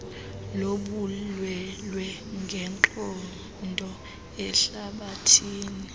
lobulwelwe ngenqondo ehlabathini